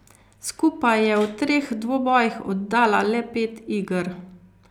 Skupaj je v treh dvobojih oddala le pet iger.